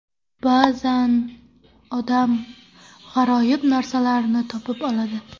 Ba’zan odam g‘aroyib narsalarni topib oladi.